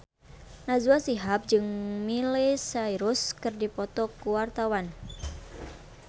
Najwa Shihab jeung Miley Cyrus keur dipoto ku wartawan